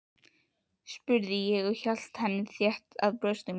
spurði ég og hélt henni þétt að brjósti mínu.